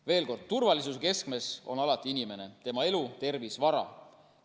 Veel kord: turvalisuse keskmes on alati inimene, tema elu, tervis, vara.